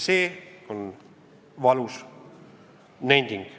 See on valus nending.